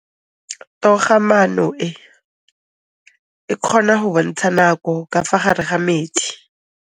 Toga-maanô e, e kgona go bontsha nakô ka fa gare ga metsi.